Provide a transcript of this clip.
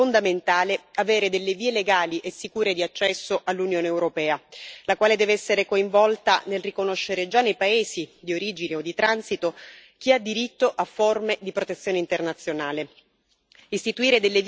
È per questo che riteniamo fondamentale avere delle vie legali e sicure di accesso all'Unione europea, la quale deve essere coinvolta nel riconoscere già nei paesi di origine o di transito chi ha diritto a forme di protezione internazionale.